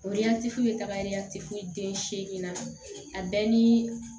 O ɲɛ te foye tagari yatɛfu den seegin na a bɛɛ nii